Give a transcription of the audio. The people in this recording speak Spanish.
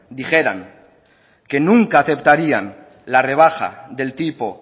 dijeran que nunca aceptarían la rebaja del tipo